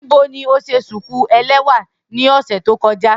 Nibo ni o ṣe shuku ẹlẹwa ni ọsẹ to kọja?